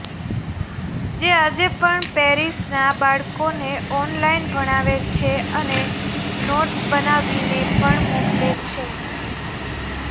તે આજે પણ પેરિસના બાળકોને ઓનલાઇન ભણાવે છે અને નોટસ બનાવીને પણ મોકલે છે